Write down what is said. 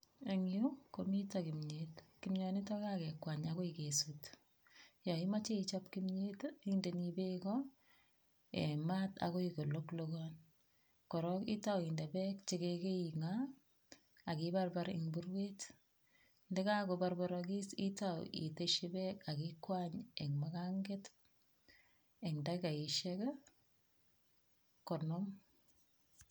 Eng yu komitei kimyet. Kimyonitok ko kakekwany akoi kesut. Yo imache ichop kimyet, indeni beko eng mat akoi koloklokon korok itau inde beek cheka kaing'a, ak ibarbar eng burbet. Ndeka kobarbarakis itau iteshi beek ak ikwany eng muganget eng dakikaishek konom.